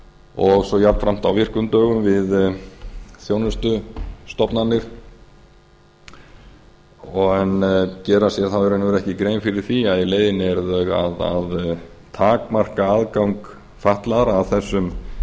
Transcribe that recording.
og svo jafnframt á virkum dögum við þjónustustofnanir en gera sér þá í raun og veru ekki grein fyrir því að í leiðinni eru þeir að takmarka aðgang fatlaðra að þessum